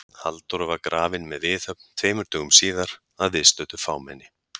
Halldóra var grafin með viðhöfn tveimur dögum síðar að viðstöddu fámenni.